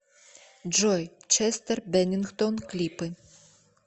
джой честер беннингтон клипы